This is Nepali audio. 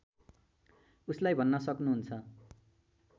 उसलाई भन्न सक्नुहुन्छ